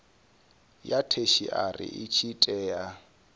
ya theshiari i tshi tea